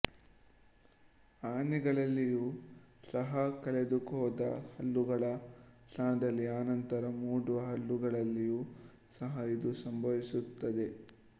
ಆನೆಗಳಲ್ಲಿಯೂ ಸಹ ಕಳೆದುಹೋದ ಹಲ್ಲುಗಳ ಸ್ಥಾನದಲ್ಲಿ ಆನಂತರ ಮೂಡುವ ಹಲ್ಲುಗಳಲ್ಲಿಯೂ ಸಹ ಇದು ಸಂಭವಿಸುತ್ತದೆ